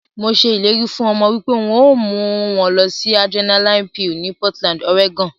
Mo se ileri fun omo wipe n o mu won losi Adrenaline Peal ni Portland, Oregon.